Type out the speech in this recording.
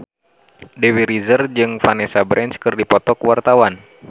Dewi Rezer jeung Vanessa Branch keur dipoto ku wartawan